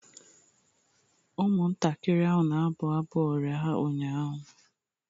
Ụmụntakịrị ahụ na-abụ abụ ọrịa ha ụnyahụ